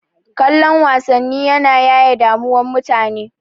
Kallon wasanni yana yaye damuwan mutane.